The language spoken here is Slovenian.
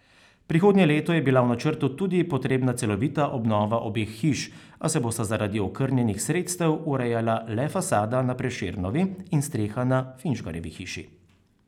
Prihodnje leto je bila v načrtu tudi potrebna celovita obnova obeh hiš, a se bosta zaradi okrnjenih sredstev urejala le fasada na Prešernovi in streha na Finžgarjevi hiši.